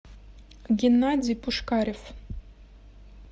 геннадий пушкарев